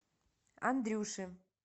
андрюши